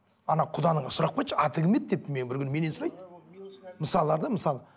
ана құданың сұрап келші аты кім еді деп бір күні менен сұрайды мысалы да мысалы